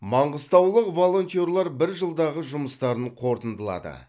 маңғыстаулық волонтерлар бір жылдағы жұмыстарын қорытындылады